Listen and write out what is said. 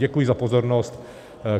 Děkuji za pozornost.